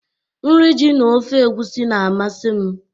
Nri ji na ofe egwusi na-amasị m.